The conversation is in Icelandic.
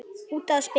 Út að spila.